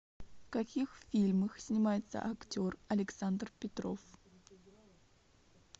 в каких фильмах снимается актер александр петров